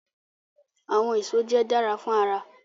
Awọn eso jẹ dara fun ara